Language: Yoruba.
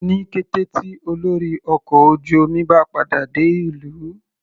Ní kété tí olórí ọkọ̀ ojú omi bá padà dé ìlú.